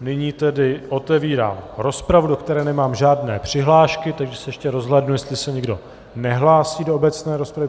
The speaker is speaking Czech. nyní tedy otevírám rozpravu, do které nemám žádné přihlášky, takže se ještě rozhlédnu, jestli se někdo nehlásí do obecné rozpravy.